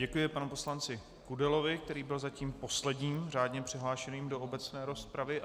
Děkuji panu poslanci Kudelovi, který byl zatím posledním řádně přihlášeným do obecné rozpravy.